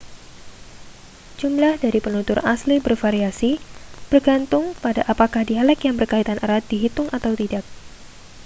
jumlah dari penutur asli bervariasi bergantung pada apakah dialek yang berkaitan erat dihitung atau tidak